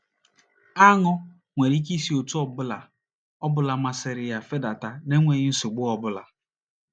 AṄỤ nwere ike isi otú ọ bụla ọ bụla masịrị ya fedata n’enweghị nsogbu ọ bụla.